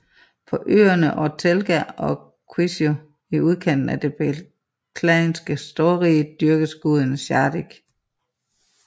På øerne Ortelga og Quiso i udkanten af det beklanske storrige dyrkes guden Shardik